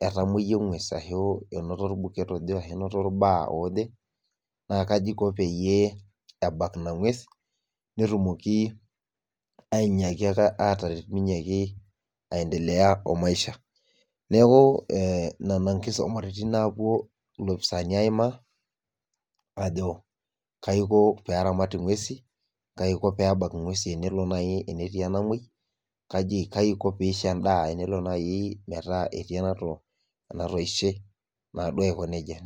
etamoyia engwes arashu einoto olbuket ojee arashu einoto ilbaa ojee naa kaji eiko peyie ebak ina ngwes netumooki ainyiaki ake aataret peinyiaki aendelea oo maisha neeku nena inkisumaritin naapuo ilopisani aimaa aajo kayii eiko peramat inguesin ,kaaji eiko peebak ingwesin tenelo naaji tenetii enamoi kajii eiko teneisho endaa tenelo ake tenetii enatoishe.